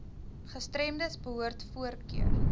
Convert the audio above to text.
gestremdes behoort voorkeur